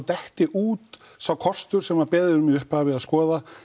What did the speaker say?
detti út sá kostur sem beðið er um í upphafi